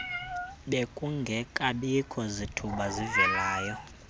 bekungekabikho zithuba zivelayo